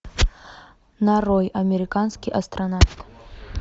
нарой американский астронавт